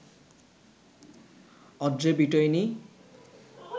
Audrey বিটয়নি